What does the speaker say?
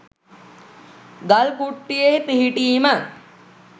ගල් කුට්ටියේ පිහිටීම